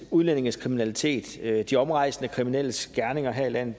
udlændinges kriminalitet de omrejsende kriminelles gerninger her i landet